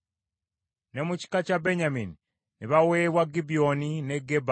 Ne mu kika kya Benyamini ne baweebwa Gibyoni, ne Geba